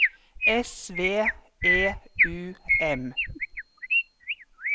S V E U M